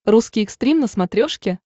русский экстрим на смотрешке